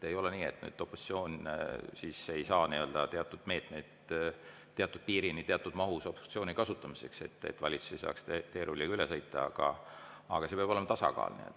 Ei ole nii, et opositsioon ei saa teatud meetmeid teatud piirini ja teatud mahus obstruktsiooni jaoks kasutada, selleks et valitsus ei saaks teerulliga üle sõita, aga peab olema tasakaal.